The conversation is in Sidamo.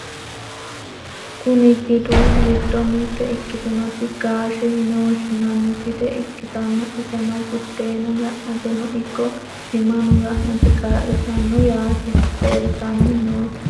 kuni gidu giddo mitte ikkitinoti gaashete yine woshshinani gide ikkitanna, iseno buddeena ga'nateno ikko timano ga'nate kaa'litanno yaate ,laaltanni noote.